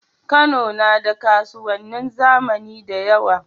Kano nada kasuwanin zamani dayawa